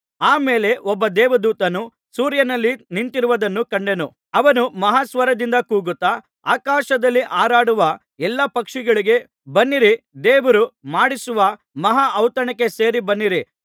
ಆ ಮೇಲೆ ಒಬ್ಬ ದೇವದೂತನು ಸೂರ್ಯನಲ್ಲಿ ನಿಂತಿರುವುದನ್ನು ಕಂಡೆನು ಅವನು ಮಹಾ ಸ್ವರದಿಂದ ಕೂಗುತ್ತಾ ಆಕಾಶದಲ್ಲಿ ಹಾರಾಡುವ ಎಲ್ಲಾ ಪಕ್ಷಿಗಳಿಗೆ ಬನ್ನಿರಿ ದೇವರು ಮಾಡಿಸುವ ಮಹಾ ಔತಣಕ್ಕೆ ಸೇರಿ ಬನ್ನಿರಿ